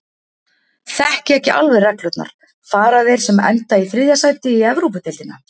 Þekki ekki alveg reglurnar. fara þeir sem enda í þriðja sæti í Evrópudeildina?